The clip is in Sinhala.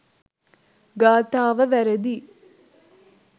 ගාථාව වැරැදියි.